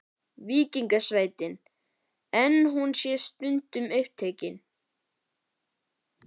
Víkingasveitin, en hún sé stundum upptekin.